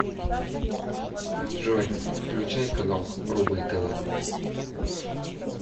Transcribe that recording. джой включай канал рубль тв